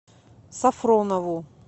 сафронову